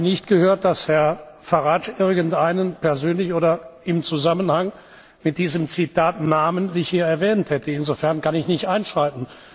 Ich habe nicht gehört, dass Herr Farage hier irgendjemand persönlich oder im Zusammenhang mit diesem Zitat namentlich erwähnt hätte. Insofern kann ich nicht einschreiten.